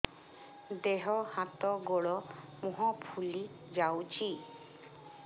ଦେହ ହାତ ଗୋଡୋ ମୁହଁ ଫୁଲି ଯାଉଛି